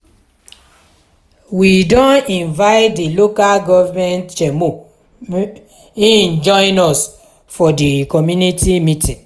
we don invite di local government chairmo make im join us for di community meeting.